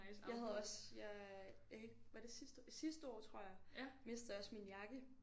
Jeg havde også jeg jeg kan ikke var det sidste år sidste år tror jeg mistede jeg også min jakke